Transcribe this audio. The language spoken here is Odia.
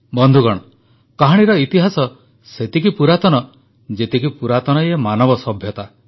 ବନ୍ଧୁଗଣ କାହାଣୀର ଇତିହାସ ସେତେ ପୁରାତନ ଯେତିକି ପୁରାତନ ଏ ମାନବ ସଭ୍ୟତା